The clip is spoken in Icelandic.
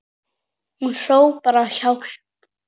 Hún hrópar á hjálp.